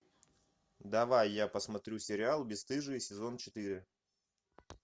давай я посмотрю сериал бесстыжие сезон четыре